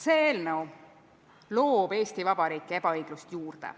See eelnõu loob Eesti Vabariiki ebaõiglust juurde.